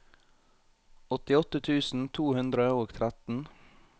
åttiåtte tusen to hundre og tretten